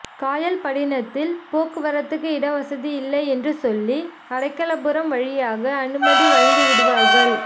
காயல்படினத்தில் போக்குவரத்துக்கு இட வசதி இல்லை என்று சொல்லி அடைகலபுரம் வழியாக அனுமதி வழங்கி விடுவார்கள்